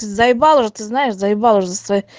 заебал уже ты знаешь заебал уже со своей